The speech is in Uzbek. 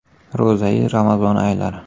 Ro‘zayi amazon oylari.